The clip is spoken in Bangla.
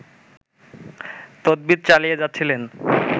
তদবির চালিয়ে যাচ্ছিলেন